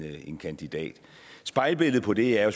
en kandidat spejlbilledet på det er